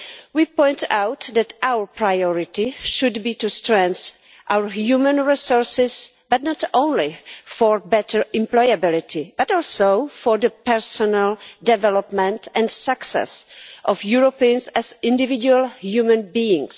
We point out that our priority should be to strengthen our human resources, not only for better employability but also for the personal development and success of Europeans as individual human beings.